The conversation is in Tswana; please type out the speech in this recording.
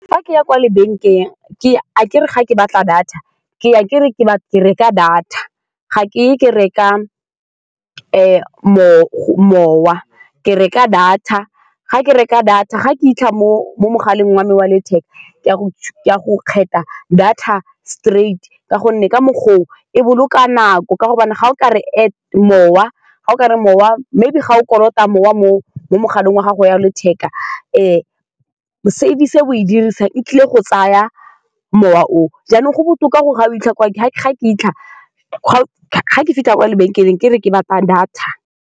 Fa ke ya kwa lebenkeleng ke ya, akere fa ke batla data ke ya ke re ke ke reka data, ga ke ye ke reka go mowa ke reka data, fa ke reka data, fa ke 'itlha mo-mo mogaleng wa me wa letheka ke a ke a go kgetha data straight-i ka gonne ka mokgwa oo e boloka nako ka gobane fa o kare mowa, fa o kare mowa maybe fa o kolota mowa mo mogaleng wa gago wa letheka. Service e o e dirisang e tlile go tsaya mowa oo, jaanong go botoka gore fa o 'itlha kwa ke, ga ke, ga ke fitlha, ga ke fitlha kwa lebenkeleng ke re ke batla data.